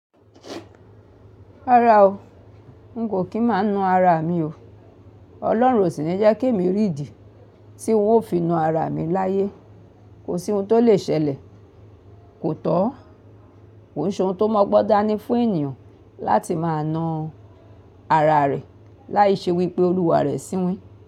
Rárá o, n kò kí máa na ara mi o. Ọlọ́run ò sì ni jẹ́ kèmi o rí ìdí tí wọ́n ó fi na ara mi láyé. Kò sí ohun tó lè ṣẹlẹ̀. Kò tọ́, kò n se ohun tó mu ogbon dani fún ènìyàn láti máa na ara rẹ̀ láì ṣe wípé olúwa rẹ̀ ṣínwin.